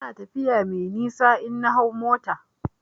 Ina tafiya mai nisa in na hau mota na.